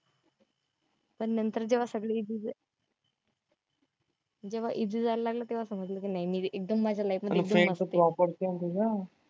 पण नंतर जेव्हा सगळं जेव्हा easy जायला लागलं तेव्हा समजलं कि नाही मी एकदम माझ्या life मध्ये